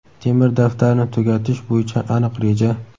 temir daftarni tugatish bo‘yicha aniq reja.